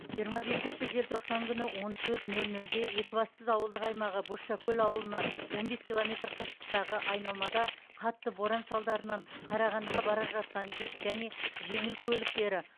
жиырма бесінші желтоқсан күні он төрт нөл нөлде екібастұз ауылдық аймағы бозшакөл ауылынан он бес километр қашықтықтағы айналмада қатты боран салдарынан қарағандыға бара жатқан жүк және жеңіл көліктері